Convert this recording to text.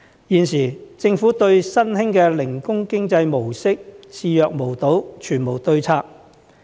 現時，政府對新興的零工經濟模式視若無睹，全無對策。